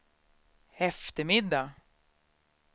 eftermiddag